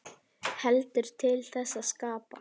Heldur til þess að skapa.